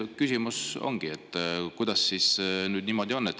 Küsimus ongi, et kuidas siis niimoodi.